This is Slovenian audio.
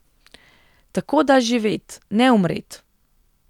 Tako da živet, ne umret!